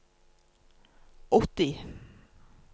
åtti